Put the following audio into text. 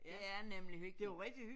Det er nemlig hyggeligt